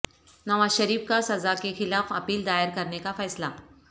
نواز شریف کا سزا کے خلاف اپیل دائر کرنے کا فیصلہ